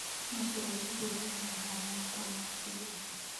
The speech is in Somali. Mashruucyadu waa inay ahaadaan kuwo macquul ah.